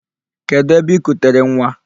Kedu ebe I kutere nwa?